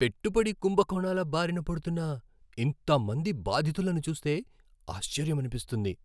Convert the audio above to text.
పెట్టుబడి కుంభకోణాల బారిన పడుతున్న ఇంత మంది బాధితులను చూస్తే ఆశ్చర్యమనిపిస్తుంది.